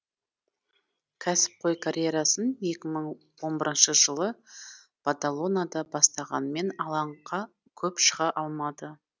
кәсіпқой карьерасын екі мың он бірінші жылы бадалонада бастағанымен алаңға көп шыға алмады